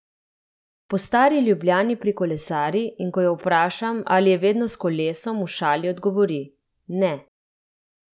Po Stari Ljubljani prikolesari, in ko jo vprašam, ali je vedno s kolesom, v šali odgovori: "Ne.